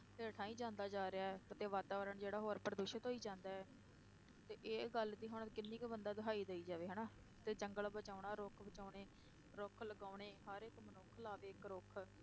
ਹੇਠਾਂ ਹੀ ਜਾਂਦਾ ਜਾ ਰਿਹਾ ਹੈ, ਤੇ ਵਾਤਾਵਰਨ ਜਿਹੜਾ ਹੋਰ ਪ੍ਰਦੂਸ਼ਿਤ ਹੋਈ ਜਾਂਦਾ ਹੈ, ਤੇ ਇਹ ਗੱਲ ਦੀ ਹੁਣ ਕਿੰਨੀ ਕੁ ਬੰਦਾ ਦੁਹਾਈ ਦੇਈ ਜਾਵੇ ਹਨਾ, ਤੇ ਜੰਗਲ ਬਚਾਉਣਾ, ਰੁੱਖ ਬਚਾਉਣੇ, ਰੁੱਖ ਲਗਾਉਣੇ, ਹਰ ਇੱਕ ਮਨੁੱਖ ਲਾਵੇ ਇੱਕ ਰੁੱਖ